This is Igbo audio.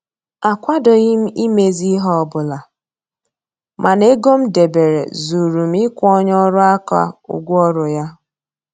Akwadoghị m imezi ihe ọbụla mana ego m debere zuuru m ịkwụ onye ọrụ aka ụgwọ ọrụ ya